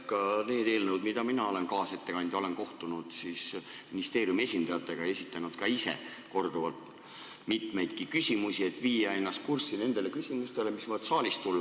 Mina olen nende eelnõude puhul, kus olen olnud kaasettekandja, kohtunud ministeeriumi esindajatega ja esitanud ka ise korduvalt mitmeid küsimusi, et viia ennast kurssi nendes küsimustes, mis võivad saalist tulla.